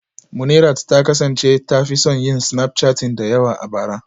Munirat ta kasance ta fi son yin snapchatting da yawa a bara